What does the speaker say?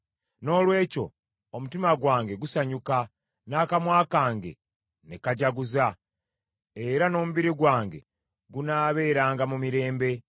Noolwekyo omutima gwange gusanyuka, n’akamwa kange ne kajaguza; era n’omubiri gwange gunaabeeranga mu mirembe.